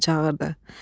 Padşah yenə çağırdı.